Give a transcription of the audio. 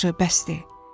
Yaxşı, bəsdir.